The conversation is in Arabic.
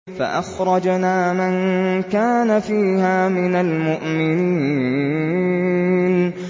فَأَخْرَجْنَا مَن كَانَ فِيهَا مِنَ الْمُؤْمِنِينَ